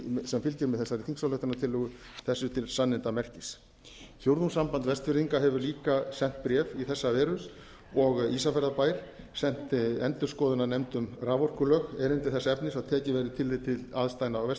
sem fylgir með þessari þingsályktunartillögu þessu til sannindamerkis fjórðungssamband vestfirðinga hefur líka sent bréf í þessa veru og ísafjarðarbær sent endurskoðunarnefnd um raforkulög erindi þess efnis að tekið verði tillit til aðstæðna á